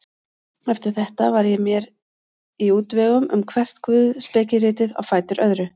Eftir þetta var ég mér í útvegum um hvert guðspekiritið á fætur öðru.